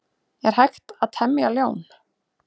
Er hægt að temja ljón?